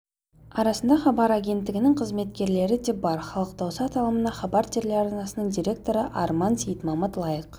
арасында хабар агенттігінің қызметкерлері де бар халық дауысы аталымына хабар телеарнасының директоры арман сейітмамыт лайық